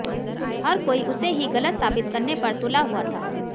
हर कोई उसे ही गलत साबित करने पर तुला हुआ था